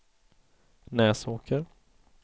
Näsåker